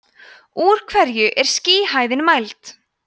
úr hverju er skýjahæðin mæld